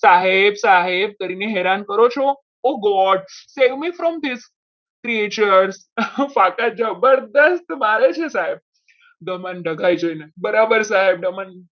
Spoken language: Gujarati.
સાહેબ સાહેબ કરીને એને હેરાન કરો છો હું god save me from this creature પાછા જાવ જબરજસ્ત મારે છે સાહેબ ગમન દગાઈ જઈને બરાબર સાહેબ?